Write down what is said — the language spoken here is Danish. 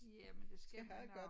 Ja men det skal vi nok